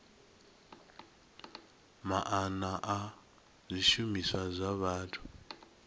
maana a zwishumiswa zwa vhathu